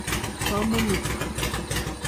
komonut.